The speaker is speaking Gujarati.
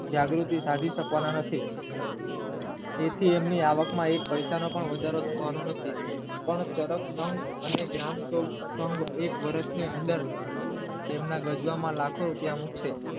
જાગૃતિ સાજી શકવાના નથી તેથી એમની આ વાતમાં એક પૈસાનો વધારો નથી પણ સરળ પણ અને જ્ઞાન પણ એક વર્ષની અંદર તેમના ગજયા માં લાખો